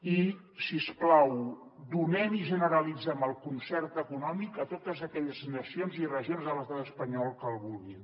i si us plau donem i generalitzem el concert econòmic a totes aquelles nacions i regions de l’estat espanyol que el vulguin